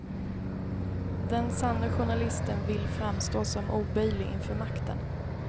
Den sanne journalisten vill framstå som oböjlig inför makten.